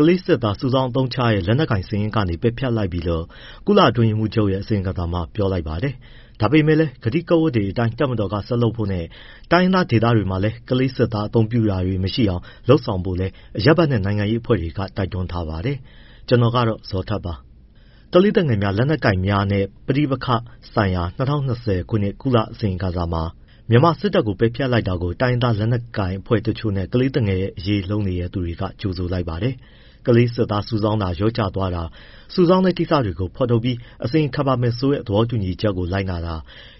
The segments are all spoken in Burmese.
ကလေးစစ်သား စုဆောင်းအသုံးပြုတဲ့ လက်နက်ကိုင်စာရင်းကနေ ပယ်ဖျက်လိုက်ပြီလို့ မြန်မာစစ်တပ်ကို ကုလအတွင်းရေးမှူးချုပ်ရဲ့ အစီရင်ခံစာမှာ ပြောထားပါတယ်။ ဒါပေမဲ့လည်း ကတိဂဝတ်တွေအတိုင်း တပ်မတော်က ဆက်လုပ်ဖို့နဲ့ တိုင်းရင်းသားဒေသတွေမှာ ကလေးစစ်သား အသုံးပြုတာတွေ မရှိအောင် လုပ်ဆောင်ဖို့လည်း အရပ်ဘက်နဲ့ နိုင်ငံရေးအဖွဲ့တွေက တိုက်တွန်းတဲ့အကြောင်း ဗွီအိုအေ မြန်မာပိုင်း သတင်းထောက် ကိုဇော်ထက်က တင်ပြထားပါတယ်။ ကလေးသူငယ်များနဲ့ လက်နက်ကိုင်များ ပဋိပက္ခဆိုင်ရာ ၂၀၂၀ ခုနှစ် ကုလအစီရင်ခံစာမှာ မြန်မာစစ်တပ်ကို အခုလို ပယ်ဖျက်လိုက်တဲ့အပေါ် တိုင်းရင်းသား လက်နက်ကိုင်အဖွဲ့တချို့နဲ့ ကလေးသူငယ်အရေး လုပ်နေသူတွေက ကြိုဆိုလိုက်ပါတယ်။ ကလေးစစ်သားစုဆောင်းတာ လျော့ကျသွားတာ၊ စုဆောင်းတဲ့ကိစ္စတွေကို ဖော်ထုတ်ပြီး အစီရင်ခံပါမယ်ဆိုတဲ့ သဘောတူညီချက်ကို လိုက်နာတာ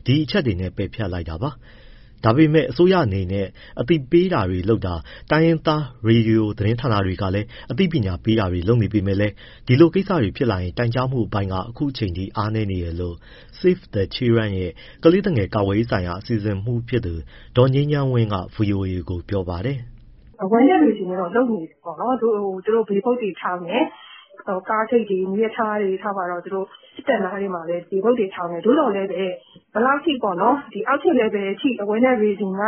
ဒီအချက်တွေနဲ့ ပယ်ဖျက်လိုက်တာပါ။ ဒါပေမဲ့ အစိုးရအနေနဲ့ အသိပညာပေးတာ၊ တိုင်းရင်းသားရေဒီယို သတင်းဌာနတွေက အသိပညာပေးတာတွေ လုပ်နေပေမဲ့လည်း ဒီလိုကိစ္စတွေဖြစ်လာရင် တိုင်ကြားမှုအပိုင်းက အခုအချိန်ထိ အားနည်းနေတယ်လို့ Save the Children ရဲ့ ကလေးသူငယ် ကာကွယ်ရေးဆိုင်ရာ အစီအစဉ်မှူးဖြစ်သူ ဒေါ်ငြိမ်းချမ်းဝင်းက ဗွီအိုအေကို ပြောပါတယ်။ “Awareness raising တွေကတော့ လုပ်နေပြီပေါ့နော်။ သူတို့ billboard တွေထောင်တယ်၊ ကားဂိတ်တွေ၊ မီးရထားတွေ၊ သူတို့ စစ်တပ်နားတွေမှာလည်း billboard တွေထောင်တယ်။ သို့သော်လည်းပဲ ဘယ်လောက်အထိ အောက်ခြေ level အထိ awareness raising က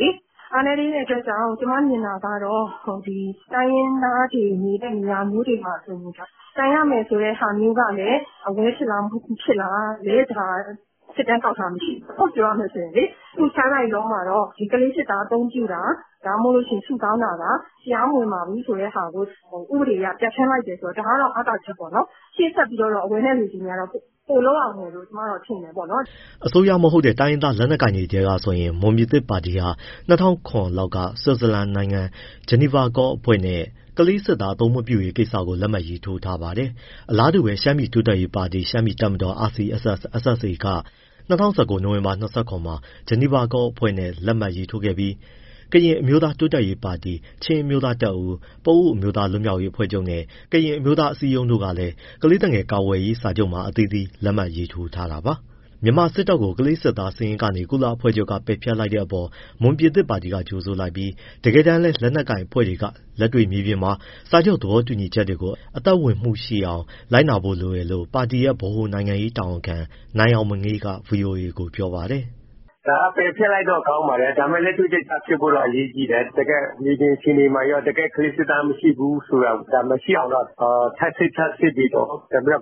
လေ အားနည်းသေးတဲ့ အတွက်ကြောင့် ကျမမြင်တာက တိုင်းရင်းသားတွေ နေတဲ့ နေရာမျိုးတွေမှာဆိုရင် တိုင်ရမယ်ဆိုတဲ့ဟာ awareness ဖြစ်လားမဖြစ်လား စစ်တမ်းကောက်ထားတာမရှိဘူး ပြောရမယ်ဆိုရင်လေ။ အခု Child Rights Law မှာတော့ ကလေးစစ်သား အသုံးပြုတာ၊ ဒါမှမဟုတ် စုဆောင်းတာ တရား မဝင်ပါဘူးဆိုတဲ့ဟာကို ဥပဒေအရ ပြဋ္ဌာန်းလိုက်တယ်ဆိုတော့ ဒါက အားသာချက်ပေါ့နော်။ ရှေ့ဆက်ပြီးတော့ awareness raising က ပိုလုပ်ရဦးမယ်လို့ ကျမထင်တယ်ပေါ့နော်။” အစိုးရမဟုတ်တဲ့ တိုင်းရင်းသားလက်နက်ကိုင်တွေထဲကဆိုရင် မွန်ပြည်သစ်ပါတီဟာ ၂၀၀၇ လောက်က ဆွစ်ဇာလန်နိုင်ငံ GenevaCall အဖွဲ့နဲ့ ကလေးစစ်သား အသုံးမပြုရေးကိစ္စကို လက်မှတ်ရေးထိုးထားပါတယ်။ အလားတူပဲ ရှမ်းပြည်တိုးတက်ရေးပါတီ၊ ရှမ်းပြည်တပ်မတော် က ၂၀၁၉ နိုဝင်ဘာ ၂၇ မှာ GenevaCall အဖွဲ့နဲ့ လက်မှတ်ရေးထိုးခဲ့ပြီး ကရင်အမျိုးသား တိုးတက်ရေးပါတီ၊ ချင်းအမျိုးသားတပ်ဦး၊ ပအိုဝ့်အမျိုးသား လွတ်မြောက်ရေးအဖွဲ့ချုပ်နဲ့ ကရင်အမျိုးသား အစည်းအရုံးတို့လည်း ကလေးသူငယ် အကာအကွယ်ပေးရေး စာချုပ်မှာ လက်မှတ်ထိုးထားတာပါ။ မြန်မာစစ်တပ်ကို ကလေးစစ်သား စုဆောင်း အသုံးပြုတဲ့စာရင်းကနေ ကုလအဖွဲ့ချုပ်က ပယ်ဖျက်လိုက်တဲ့အပေါ် မွန်ပြည်သစ်ပါတီက ကြိုဆိုလိုက်ပြီး တကယ်တမ်းလည်း လက်နက်ကိုင်အဖွဲ့တွေက လက်တွေ့ မြေပြင်မှာ စာချုပ်သဘောတူညီချက်တွေ အသက်ဝင်မှုရှိအောင် လိုက်နာဖို့လိုတယ်လို့ ပါတီရဲ့ ဗဟိုနိုင်ငံရေးဌာန တာဝန်ခံ နိုင်အောင်မငေးက ဗွီအိုအေကို ပြောပါတယ်။ “ဒါက ပယ်ဖျက်လိုက်တော့ ကောင်းပါတယ်၊ ဒါပေမဲ့ လက်တွေ့ကျကျဖြစ်ဖို့တော့ အရေးကြီးတယ်။ တကယ့်မြေပြင် အခြေအနေမှာရော၊ တကယ် ကလေးစစ်သား မရှိဘူးဆိုတာကို၊ ဒါ မရှိအောင်တော့ ထပ်စစ်၊ ထပ်စစ်ပြီးတော့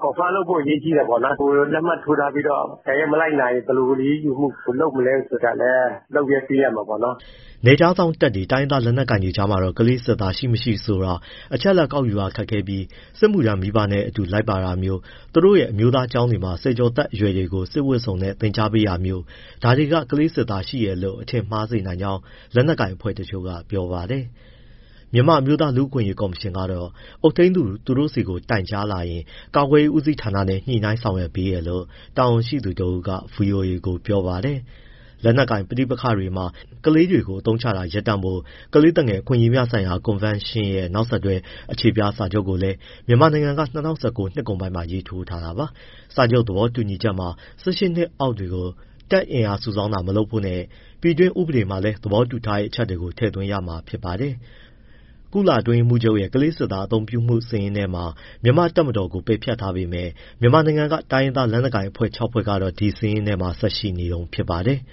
confirm လုပ်ဖို့ အရေးကြီးတယ်ပေါ့နော်။ လက်မှတ်ထိုးထားပြီးတော့ အကယ်၍ မလိုက်နာရင် ဘယ်လိုအရေးယူမှု လုပ်မလဲဆိုတာလည်း လုပ်ပေးရမှာပေါ့နော်။” နယ်ခြားစောင့်တပ်တွေ၊ တိုင်းရင်းသား လက်နက်ကိုင်တွေကြားမှာတော့ ကလေးစစ်သား ရှိ၊ မရှိဆိုတာ အချက်အလက်ကောက်ယူရ ခက်ခဲပြီး စစ်မှုထမ်းမိဘနဲ့ အတူလိုက်ပါလာတာမျိုး၊ သူတို့ရဲ့ အမျိုးသားကျောင်းတွေမှာ ဆယ်ကျော်သက်အရွယ်တွေကို စစ်ဝတ်စုံနဲ့ သင်ကြားပေးတာမျိုး ဒါတွေက ကလေးစစ်သား ရှိတယ်လို့ အထင်မှားစေနိုင်ကြောင်း လက်နက်ကိုင်အဖွဲ့တချို့က ပြောပါတယ်။ မြန်မာအမျိုးသား လူ့အခွင့်အရေးကော်မရှင်ကတော့ အုပ်ထိန်းသူက သူတို့ဆီတိုင်ကြားလာရင် ကာကွယ်ရေးဦးစီးဌာနနဲ့ ညှိနှိုင်းဆောင်ရွက်ပေးတယ်လို့ တာဝန်ရှိသူတဦးက ဗွီအိုအေကို ပြောပါတယ်။ လက်နက်ကိုင် ပဋိပက္ခတွေမှာ ကလေးတွေကို အသုံးချတာ ရပ်တန့်ဖို့ ကလေးသူငယ်အခွင့်အရေးများဆိုင်ရာ ကွန်ဗင်းရှင်းရဲ့ နောက်ဆက်တွဲ အခြေပြစာချုပ်ကိုလည်း မြန်မာနိုင်ငံက ၂၀၁၉ နှစ်ကုန်ပိုင်းမှာ ရေးထိုးထားပါ။ စာချုပ်သဘောတူညီချက်မှာ ၁၈ နှစ်အောက်တွေကို တပ်အင်အားစုဆောင်းတာ မလုပ်ဖို့နဲ့ ပြည်တွင်း ဥပဒေတွေမှာလည်း သဘောတူထားတဲ့ အချက်တွေကို ထည့်သွင်းရမှာဖြစ်ပါတယ်။ ကုလအတွင်းရေးမှုးချုပ်ရဲ့ ကလေးစစ်သားအသုံးပြုမှုစာရင်းထဲ မြန်မာ့တပ်မတော်ကို ပယ်ဖျက်ထားပေမဲ့ မြန်မာနိုင်ငံက တိုင်းရင်းသားလက်နက်ကိုင်အဖွဲ့ ၆ ဖွဲ့ကတော့ အဲဒီစာရင်းထဲမှာ ဆက်ရှိနေတုန်းဖြစ်ပါတယ်။